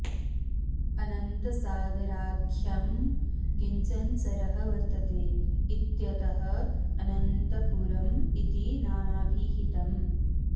अनन्तसागराख्यं किञ्चन सरः वर्तते इत्यतः अनन्तपुरम् इति नामाभिहितम्